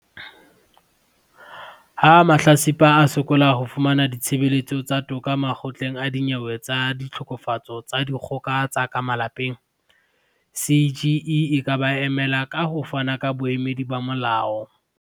Ha mahlatsipa a sokola ho fumana ditshebeletso tsa toka Makgotleng a Dinyewe tsa Ditlhokofatso tsa Dikgoka tsa ka Malapeng, CGE e ka ba emela, ka ho fana ka boemedi ba molao.